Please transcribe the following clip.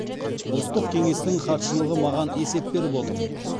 ұлттық кеңестің хатшылығы маған есеп беріп отыр